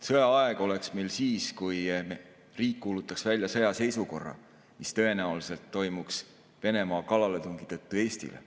Sõjaaeg oleks meil siis, kui riik kuulutaks välja sõjaseisukorra, mis tõenäoliselt toimuks Venemaa kallaletungi tõttu Eestile.